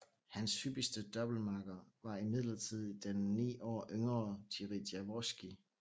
Hans hyppigste doublemakker var imidlertid den ni år yngre Jiří Javorský